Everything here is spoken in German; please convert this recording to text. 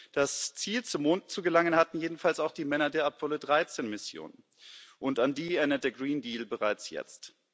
Das Ziel, zum Mond zu gelangen, hatten jedenfalls auch die Männer der Apollo 13 Mission, und an die erinnert der Green Deal bereits jetzt.